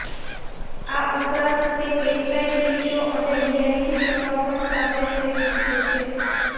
આ ઉપરાંત તે કેટલાય ટીવી શો અને રિયાલિટી શોમાં પણ સામેલ થઈ ચૂક્યો છે